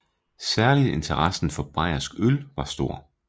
Særligt interessen for bayersk øl var stor